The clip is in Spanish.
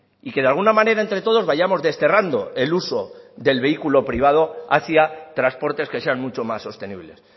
y que de alguna manera entre todos vayamos desterrando el uso del vehículo privado hacia transportes que sean mucho más sostenibles